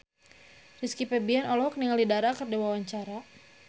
Rizky Febian olohok ningali Dara keur diwawancara